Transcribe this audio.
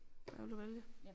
Hvad vil du vælge